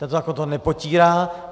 Ten zákon to nepotírá.